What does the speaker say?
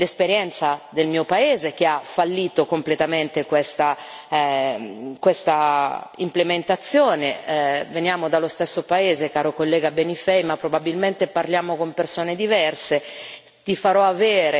Io porto l'esperienza del mio Paese che ha fallito completamente questa implementazione. Veniamo dallo stesso paese, caro collega Benifei, ma probabilmente parliamo con persone diverse.